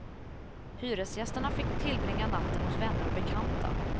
Hyresgästerna fick tillbringa natten hos vänner och bekanta.